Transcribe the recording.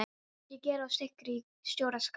Setjið gerið og sykurinn í stóra skál.